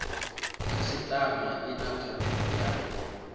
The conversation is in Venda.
khasiṱama i na pfanelo ya